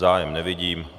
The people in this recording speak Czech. Zájem nevidím.